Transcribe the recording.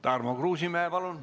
Tarmo Kruusimäe, palun!